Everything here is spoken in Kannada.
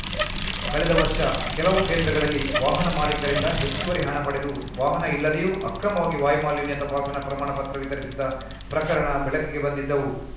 ಕಳೆದ ವರ್ಷ ಕೆಲವು ಕೇಂದ್ರಗಳಲ್ಲಿ ವಾಹನ ಮಾಲಿಕರಿಂದ ಹೆಚ್ಚುವರಿ ಹಣ ಪಡೆದು ವಾಹನ ಇಲ್ಲದೆಯೂ ಅಕ್ರಮವಾಗಿ ವಾಯು ಮಾಲಿನ್ಯ ತಪಾಸಣಾ ಪ್ರಮಾಣ ಪತ್ರ ವಿತರಿಸಿದ್ದ ಪ್ರಕರಣ ಬೆಳಕಿಗೆ ಬಂದಿದ್ದವು